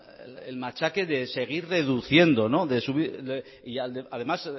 el machaque de seguir deduciendo y además